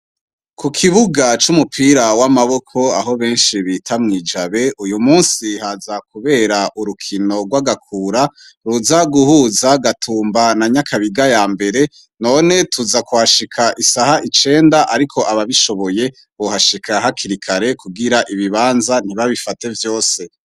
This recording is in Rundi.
Kukibuga cumupira wamaboko aho benshi bita mwi jabe uyumusi haza kubera urukino rwagakura ruza guhuza gatumba na nyakabiga yambere none tuza kuhashika isaha icenda ariko abishoboye bohashika hakiri kare kugira ibibanza ntibabifate vyose